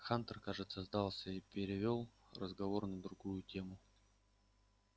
хантер кажется сдался и перевёл разговор на другую тему